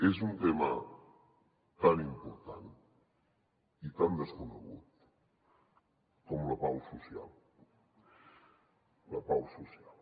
és un tema tan important i tan desconegut com la pau social la pau social